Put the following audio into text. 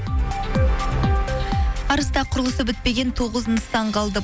арыста құрылысы бітпеген тоғыз нысан қалды